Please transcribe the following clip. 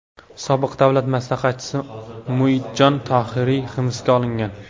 Sobiq davlat maslahatchisi Muidjon Tohiriy hibsga olingan .